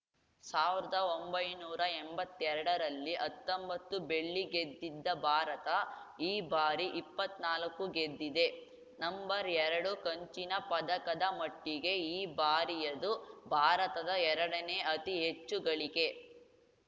ಸಾವಿರದ ಒಂಬೈನೂರಾ ಎಂಬತ್ತೆರಡರಲ್ಲಿ ಹತ್ತೊಂಬತ್ತು ಬೆಳ್ಳಿ ಗೆದ್ದಿದ್ದ ಭಾರತ ಈ ಬಾರಿ ಇಪ್ಪತ್ನಾಲ್ಕು ಗೆದ್ದಿದೆ ನಂಬರ್ಎರಡು ಕಂಚಿನ ಪದಕದ ಮಟ್ಟಿಗೆ ಈ ಬಾರಿಯದು ಭಾರತದ ಎರಡನೇ ಅತಿ ಹೆಚ್ಚು ಗಳಿಕೆ